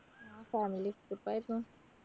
family trip ആയിരുന്നു